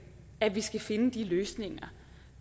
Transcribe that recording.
at vi skal finde de løsninger